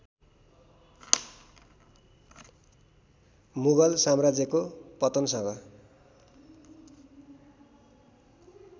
मुगल साम्राज्यको पतनसँग